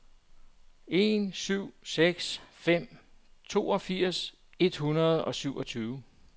en syv seks fem toogfirs et hundrede og syvogtyve